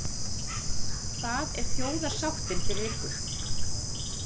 Hvað er þjóðarsáttin fyrir ykkur?